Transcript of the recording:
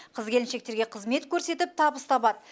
қыз келіншектерге қызмет көрсетіп табыс табады